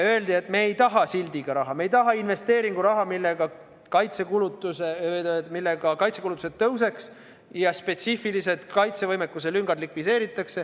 Öeldi, et me ei taha sildiga raha, me ei taha investeeringuraha, millega kaitsekulutused kasvaks ja spetsiifilised kaitsevõimekuse lüngad likvideeritaks.